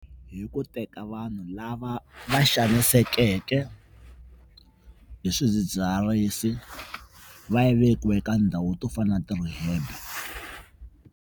Hi ku teka vanhu lava va xanisekeke hi swidzidziharisi va ya vekiwa eka ndhawu to fana na ti-rehab.